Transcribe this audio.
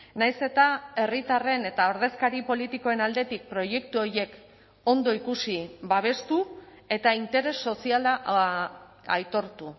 nahiz eta herritarren eta ordezkari politikoen aldetik proiektu horiek ondo ikusi babestu eta interes soziala aitortu